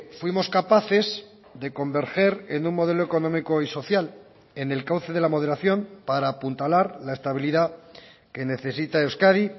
fuimos capaces de converger en un modelo económico y social en el cauce de la moderación para apuntalar la estabilidad que necesita euskadi